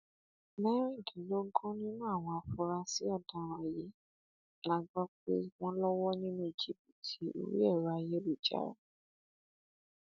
mẹrìndínlógún nínú àwọn afurasí ọdaràn yìí la gbọ pé wọn lọwọ nínú jìbìtì orí ẹrọ ayélujára